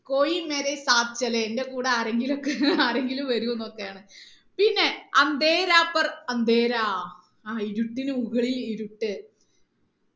എന്റെ കൂടെ ആരങ്കിലൊക്കെ ആരെങ്കിലും വരൂ എന്നൊക്കെയാണ് പിന്നെ ആ ഇരുട്ടിനു മുകളിൽ ഇരുട്ട്